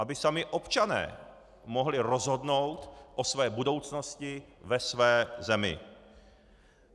Aby sami občané mohli rozhodnout o své budoucnosti ve své zemi.